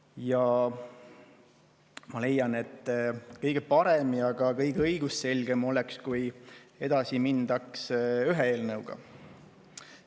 Ja ma leian, et kõige parem ja ka kõige õigusselgem oleks, kui edasi mindaks ühe eelnõuga.